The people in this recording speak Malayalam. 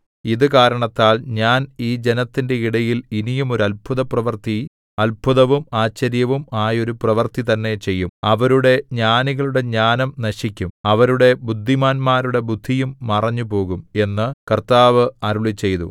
ഇതു കാരണത്താൽ ഞാൻ ഈ ജനത്തിന്റെ ഇടയിൽ ഇനിയും ഒരു അത്ഭുതപ്രവൃത്തി അത്ഭുതവും ആശ്ചര്യവും ആയൊരു പ്രവൃത്തി തന്നെ ചെയ്യും അവരുടെ ജ്ഞാനികളുടെ ജ്ഞാനം നശിക്കും അവരുടെ ബുദ്ധിമാന്മാരുടെ ബുദ്ധിയും മറഞ്ഞുപോകും എന്നു കർത്താവ് അരുളിച്ചെയ്തു